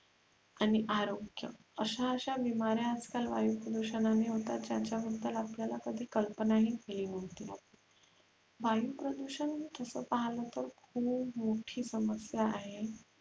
आणि आरोग्य आश्या अश्या बिमाऱ्य आजकाल वायु प्रदुषणनानी होतात ज्याच्याबद्दल आपल्याला कधी कल्पनाही आली नव्हती वायु प्रदुषण तसा पाहला तर खुप मोठी समस्या आहे